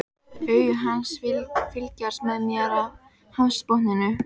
Augu hans fylgjast með mér af hafsbotninum.